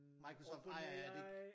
Microsoft ejer er det ikke